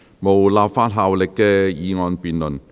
無立法效力的議案辯論。